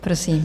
Prosím.